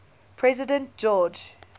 president george